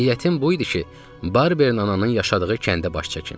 Niyyətim bu idi ki, Barberin ananın yaşadığı kəndə baş çəkim.